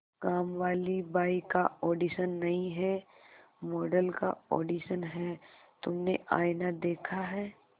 कामवाली बाई का ऑडिशन नहीं है मॉडल का ऑडिशन है तुमने आईना देखा है